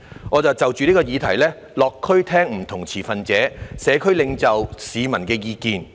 "我便就着這個議題落區聆聽了不同持份者、社區領袖和市民的意見。